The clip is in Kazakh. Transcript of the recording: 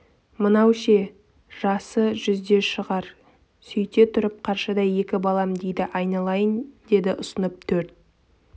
мынау ше жасы жүзде шығар сөйте тұрып қаршадай екі балам дейді айналайын деді ұсынып төрт